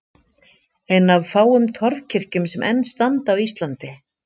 Ein af fáum torfkirkjum sem enn standa á Íslandi.